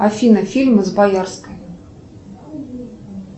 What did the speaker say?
афина фильмы с боярской